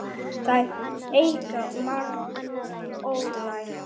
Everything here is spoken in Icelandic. Þeir eigi margt ólært.